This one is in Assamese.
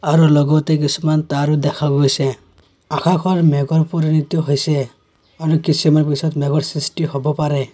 আৰু লগতে কিছুমান তাঁৰো দেখা গৈছে আকাশৰ মেঘৰ পুৰনিটো হৈছে আৰু কিছূমান পিছত মেঘৰ সৃষ্টি হব পাৰে।